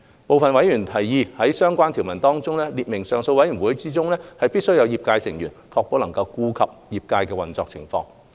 部分委員提議在相關條文中列明上訴委員會中，必須有業界成員，確保能顧及業界的運作情況。